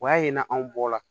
O y'a ye n'anw bɔla